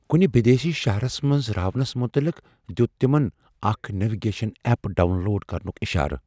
کُنہ بدیسی شہرس منز راونس مُتعلق دِیُت تِمن اكھ نیوِگیشن ایپ ڈاون لوڈ كرنُك ِاشارٕ ۔